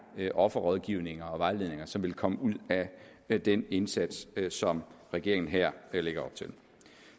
offerrådgivninger og vejledninger som vil komme ud af den indsats som regeringen her lægger op til